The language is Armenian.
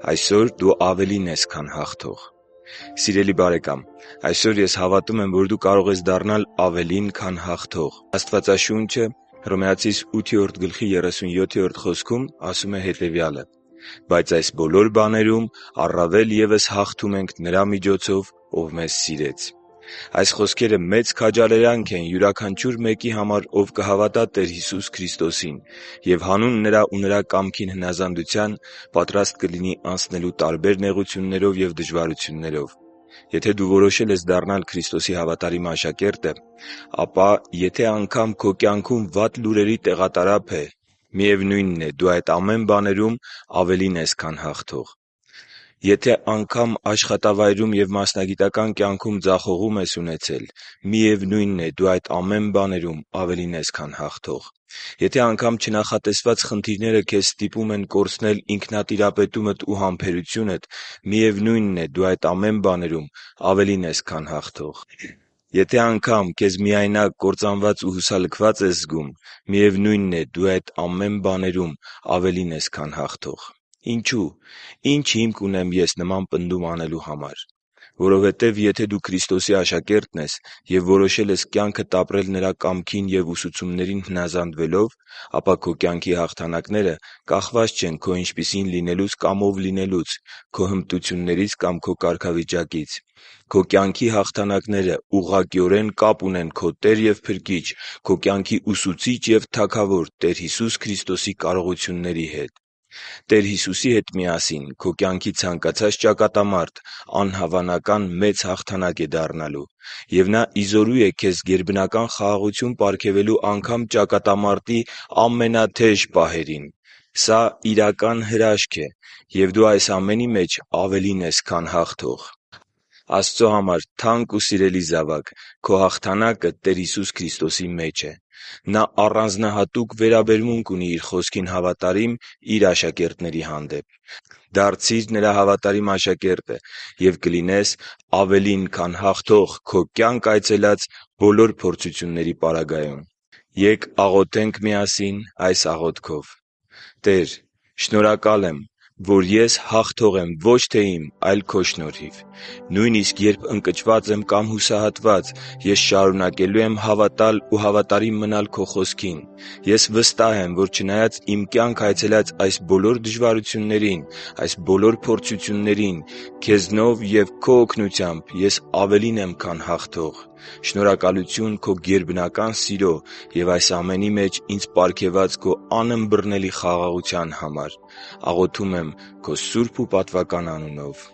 Այսօր դու ավելին ես, քան հաղթող Սիրելի՛ բարեկամ, այսօր ես հավատում եմ, որ դու կարող ես դառնալ ավելին, քան հաղթող։ Աստվածաշունչն ասում է. «Բայց այս բոլոր բաներում առավել ևս հաղթում ենք Նրա՛ միջոցով, Ով մեզ սիրեց» (Հռոմեացիս 8.37)։ Այս խոսքերը մեծ քաջալերանք են յուրաքանչյուր մեկի համար, ով կհավատա Տեր Հիսուս Քրիստոսին և հանուն Նրա ու Նրա կամքին հնազանդության պատրաստ կլինի անցնելու տարբեր նեղություններով և դժվարություններով։ Եթե դու որոշել ես դառնալ Քրիստոսի հավատարիմ աշակերտը, ապա եթե անգամ․․․ - քո կյանքում վատ լուրերի տեղատարափ է, միևնույնն է, դու այդ ամեն բաներում ավելին ես, քան հաղթող: - աշխատավայրում և մասնագիտական կյանքում ձախողում ես ունեցել, միևնույնն է, դու այդ ամեն բաներում ավելին ես, քան հաղթող: - չնախատեսված խնդիրները քեզ ստիպում են կորցնել ինքնատիրապետումդ ու համբերությունդ, միևնույնն է, դու այդ ամեն բաներում ավելին ես, քան հաղթող: - քեզ միայնակ, կործանված ու հուսալքված ես զգում, միևնույնն է, դու այդ ամեն բաներում ավելին ես, քան հաղթող: Ինչու՞։ Ի՞նչ հիմք ունեմ ես նման պնդում անելու համար։ Որովհետև, եթե դու Քրիստոսի աշակերտն ես և որոշել ես կյանքդ ապրել՝ Նրա կամքին և ուսուցումներին հնազանդվելով, ապա քո կյանքի հաղթանակները կախված չեն քո ինչպիսին լինելուց կամ ով լինելուց, քո հմտություններից կամ քո կարգավիճակից։ Քո կյանքի հաղթանակները ուղղակիորեն կապ ունեն քո Տեր և Փրկիչ, քո կյանքի Ուսուցիչ և Թագավոր Տեր Հիսուսի Քրիստոսի կարողությունների հետ։ Տեր Հիսուսի հետ միասին քո կյանքի ցանկացած ճակատամարտ անհավանական մեծ հաղթանակ է դառնալու։ Եվ Նա ի զորու է քեզ գերբնական խաղաղություն պարգևելու անգամ ճակատամարտի ամենաթեժ պահերին։ Սա իրական հրաշք է, և դու այս ամենի մեջ ավելին ես, քան հաղթող։ Աստծո համար թանկ ու սիրելի՛ զավակ, քո հաղթանակը Տեր Հիսուսի Քրիստոսի մեջ է։ Նա առանձնահատուկ վերաբերմունք ունի Իր Խոսքին հավատարիմ Իր աշակերտների հանդեպ։ Դարձի՛ր Նրա հավատարիմ աշակերտը և կլինես ավելին, քան հաղթող քո կյանք այցելած բոլոր փորձությունների պարագայում։ Ե՛կ աղոթենք միասին այս աղոթքով․ «Տե՛ր, շնորհակալ եմ որ ես հաղթող եմ ոչ թե իմ, այլ Քո շնորհիվ: Նույնիսկ երբ ես ընկճված եմ կամ հուսահատված, ես շարունակելու եմ հավատալ ու հավատարիմ մնալ Քո Խոսքին։ Ես վստահ եմ, որ չնայած իմ կյանք այցելած այս բոլոր փորձություններին, Քեզնով և Քո օգնությամբ ես ավելին եմ, քան հաղթող: Շնորհակալություն քո գերբնական սիրո և այս ամենի մեջ ինձ պարգևած քո անըմբռնելի խաղաղության համար: Աղոթում եմ Քո սուրբ ու պատվական անունով: